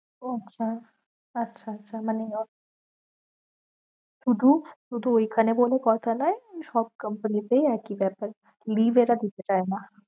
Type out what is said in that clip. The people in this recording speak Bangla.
ও আচ্ছা আচ্ছা আচ্ছা মানে শুধু শুধু ঐখানে বলে কথা নয়, সব company তেই এক ই ব্যাপার leave এরা দিতে চায়ে না।